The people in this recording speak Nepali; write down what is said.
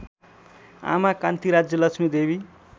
आमा कान्ति राज्यलक्ष्मीदेवी